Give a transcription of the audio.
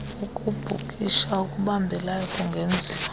ukubhukisha okubambelayo kungenziwa